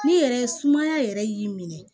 Ne yɛrɛ sumaya yɛrɛ y'i minɛ